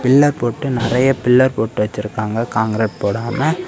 Pillar போட்டு நெறைய pillar போட்டு வச்சிருக்காங்க கான்கிரீட் போடாம.